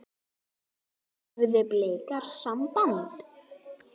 Höfðu Blikar samband?